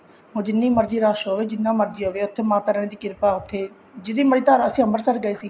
ਉਹ ਜਿੰਨੀ ਮਰਜ਼ੀ ਰਸ਼ ਹੋਵੇ ਜਿੰਨਾ ਮਰਜ਼ੀ ਹੋਵੇ ਉੱਥੇ ਮਾਤਾ ਰਾਣੀ ਦੀ ਕਿਰਪਾ ਉੱਥੇ ਜਿੰਨੀ ਮਰਜ਼ੀ ਅਸੀਂ ਅਮ੍ਰਿਤਸਰ ਗਏ ਸੀ